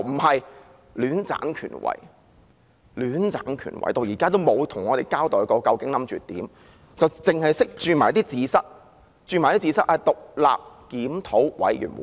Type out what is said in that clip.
可是，她卻戀棧權位，直至現時也沒有向我們交代究竟打算怎樣做，只懂得"捉字蚤"，說會成立獨立檢討委員會。